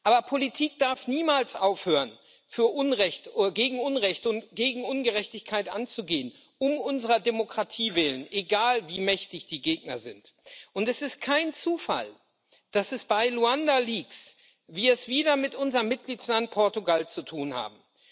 Aber Politik darf niemals aufhören, gegen Unrecht und gegen Ungerechtigkeit anzugehen, um unserer Demokratie willen, egal wie mächtig die Gegner sind. Es ist kein Zufall, dass wir es bei Luanda Leaks wieder mit unserem Mitgliedstaat Portugal zu tun haben.